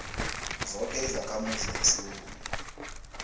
zoke izakhamuzi zesewula